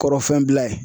Kɔrɔfinɛ bila ye